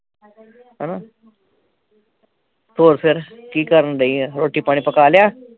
ਹਣਾ ਹੋਰ ਫਿਰ ਕੀ ਕਰਨ ਦਈ ਆ ਰੋਟੀ ਪਾਣੀ ਪਕਾ ਲਿਆ